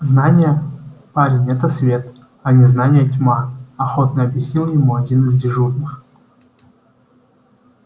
знание парень это свет а незнание тьма охотно объяснил ему один из дежурных